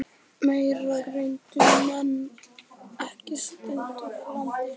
Meira greindu menn ekki um stund úr landi.